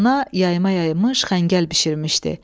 Ana yayıma yaymış xəngəl bişirmişdi.